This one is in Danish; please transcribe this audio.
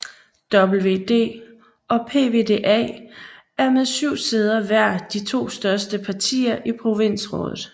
VVD og PvdA er med 7 sæder hver de to største partier i provinsrådet